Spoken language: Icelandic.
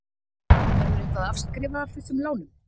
Verður eitthvað afskrifað af þessum lánum?